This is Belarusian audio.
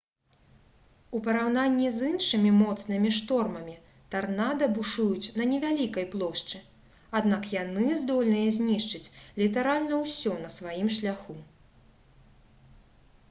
у параўнанні з іншымі моцнымі штормамі тарнада бушуюць на невялікай плошчы аднак яны здольныя знішчыць літаральна ўсё на сваім шляху